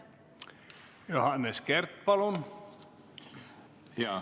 Johannes Kert, palun!